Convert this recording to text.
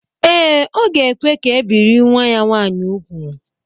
Ee, ọ ga-ekwe ka e biri nwa ya nwaanyị úgwù